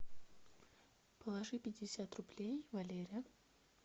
положи пятьдесят рублей валере